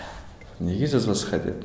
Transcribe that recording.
неге жазбасқа деп